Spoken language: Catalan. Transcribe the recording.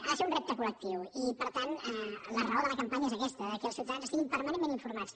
ha de ser un repte col·la raó de la campanya és aquesta que els ciutadans estiguin permanentment informats